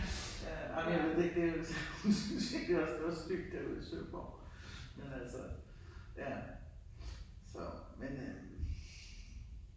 Ja, ej men jeg ved det ikke det jo det jo hun syntes virkelig det var så stygt derude i Søborg men altså ja så men øh